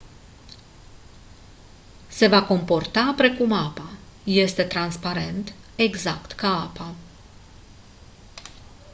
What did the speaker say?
se va comporta precum apa este transparent exact ca apa